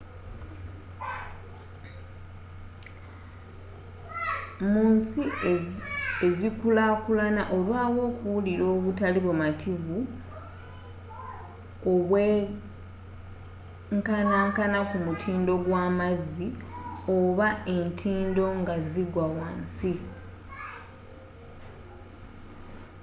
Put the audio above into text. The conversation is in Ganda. mu nsi e'zikulaakulana olwawo okuwulira obutali bumativu obwenkanankana ku mutindo gwa mazzi oba entindo nga zigwa wansi